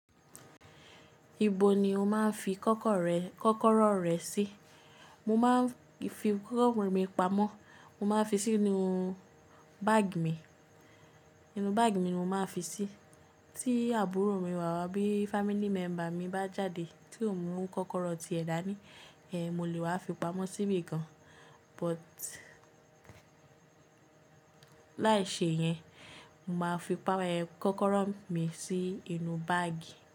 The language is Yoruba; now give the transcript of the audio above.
Ibo ni o máa ń fi kọ́kọ́rọ́ rẹ sí? Mo máa ń fi kọ́kọ́rọ́ mi pamọ́, mo máa ń fi sí inú báàgì mi, inú báàgì mi ni mo máa ń fi sí. Tí àbúrò mi wà wá bí family member mi bá jáde tí òun mú kọ́kọ́rọ́ ti ẹ̀ dá ní, mọ lè wá fi pamọ́ síbí kan. But láì ṣe yẹn, mo máa fi kọ́kọ́rọ́ mi sì inú báàgì.